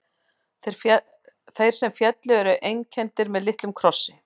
Þeir sem féllu eru einkenndir með litlum krossi.